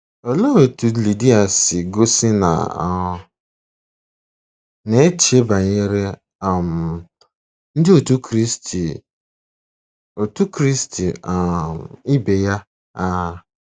Olee otú Lidia si gosi na ọ na-eche banyere um Ndị Otù Kristi Otù Kristi um ibe ya? um